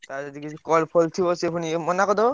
ତାର ଯଦି କିଛି call ଫଲ ଥିବ ସିଏ ଫୁଣି ମନା କରିଦବ।